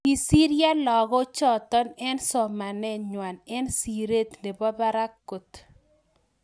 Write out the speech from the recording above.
Kisiryoo lagoo chotok eng somanet ngwang eng sireet neboo parak kot